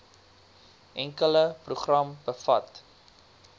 enkele program bevat